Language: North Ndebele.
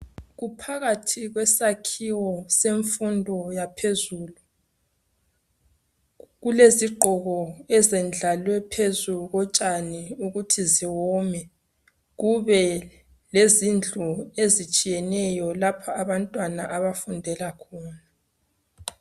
Kuphakathi kwesakhiwo semfundo yaphezulu. Kulezigqoko ezendlalwe phezu kotshani ukuthi ziwome. Kube lezindlu ezitshiyeneyo lapho abantwana abafundela khona.